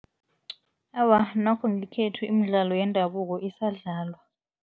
Awa, nokho ngekhethu imidlalo yendabuko isadlalwa.